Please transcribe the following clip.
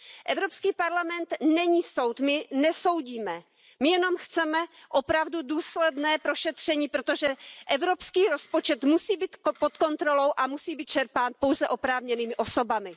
Evropský parlament není soud, my nesoudíme, my jenom chceme opravdu důsledné prošetření, protože evropský rozpočet musí být pod kontrolou a musí být čerpán pouze oprávněnými osobami.